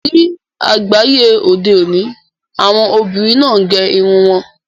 Ni agbaye ode oni, awọn obinrin naa ń gẹ́ irun wọn.